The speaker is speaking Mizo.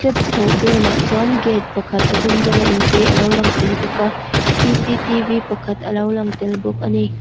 step chhoh dâwnah chuan gate pakhat a dum rawnga inchei a lo lang tel bawk a pakhat a lo lang tel bawk a ni.